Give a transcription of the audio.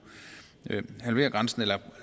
halvere grænsen eller